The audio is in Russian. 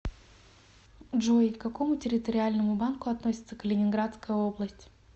джой к какому территориальному банку относится калининградская область